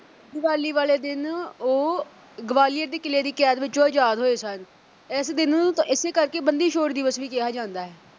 ਦੀਵਾਲੀ ਵਾਲੇ ਦਿਨ ਉਹ ਗਵਾਲੀਅਰ ਦੇ ਕਿਲ੍ਹੇ ਦੀ ਕੈਦ ਵਿੱਚੋਂ ਆਜ਼ਾਦ ਹੋਏ ਸਨ ਇਸ ਦਿਨ ਨੂੰ ਏਸੇ ਕਰਕੇ ਬੰਦੀ ਛੋੜ ਦਿਵਸ ਵੀ ਕਿਹਾ ਜਾਂਦਾ ਹੈ